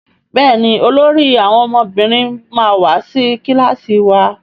Béèni olórí àwọn ọmọbìnrin ma wá sí kilasi wá.